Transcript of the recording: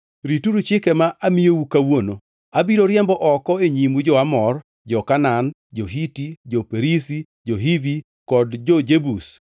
Rituru chike ma amiyou kawuono. Abiro riembo oko e nyimu jo-Amor, jo-Kanaan, jo-Hiti, jo-Perizi, jo-Hivi kod jo-Jebus.